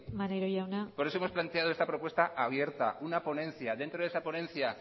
puede plantear eso así por eso hemos planteado esta propuesta abierta una ponencia dentro de esta ponencia